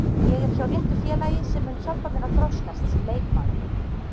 Ég er hjá réttu félagi sem mun hjálpa mér að þroskast sem leikmaður.